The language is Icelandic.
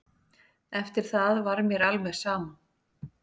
Eftir það var mér alveg sama.